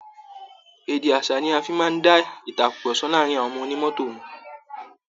Èdè aṣa ni a fi màa ń dá ìtàkurọ̀sọ láàárin àwọn ọmọ onímọ́tò mọ